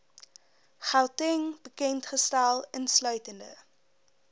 gauteng bekendgestel insluitende